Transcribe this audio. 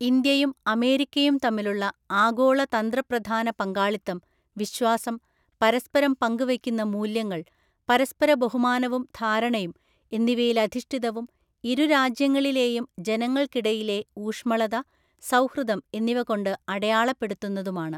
ഇന്ത്യയും അമേരിക്കയും തമ്മിലുള്ള ആഗോള തന്ത്രപ്രധാനപങ്കാളിത്തം വിശ്വാസം, പരസ്പരം പങ്ക് വയ്ക്കുന്ന മൂല്യങ്ങള്‍, പരസ്പര ബഹുമാനവും ധാരണയും എന്നിവയിലധിഷ്ടിതവും ഇരുരാജ്യങ്ങളിലേയും ജനങ്ങള്ക്കിടയിലെ ഊഷ്മളത, സൗഹൃദം എന്നിവകൊണ്ട് അടയാളപ്പെടുത്തുന്നതുമാണ്.